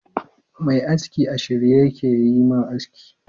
Mai aski a shirye yake yayi ma aski.